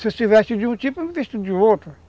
Você se veste de um tipo, eu me visto de outro.